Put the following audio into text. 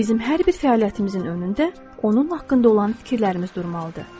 Bizim hər bir fəaliyyətimizin önündə onun haqqında olan fikirlərimiz durmalıdır.